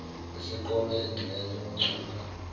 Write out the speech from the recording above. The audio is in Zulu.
eseqome engxenye wacupha